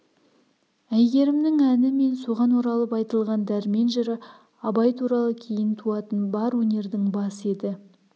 әйгерімнің әні мен соған оралып айтылған дәрмен жыры абай туралы кейін туатын бар өнердің басы еді